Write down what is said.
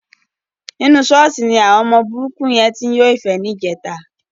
Inú ṣọ́ọ̀ṣì ni àwọn burúkú yẹn ti ń yọ́fẹ̀ẹ́ níjẹta.